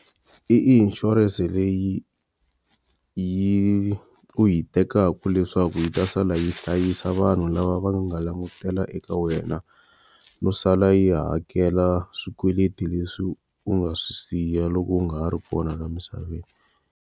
I insurance leyi yi u yi tekaka leswaku yi ta sala yi hlayisa vanhu lava va nga langutela eka wena, no sala yi hakela swikweleti leswi u nga swi siya loko u nga ha ri kona laha misaveni.